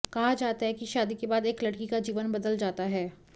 कहा जाता है कि शादी के बाद एक लड़की का जीवन बदल जाता है